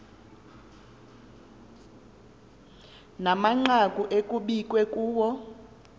namanqaku ekukbiwe kuwo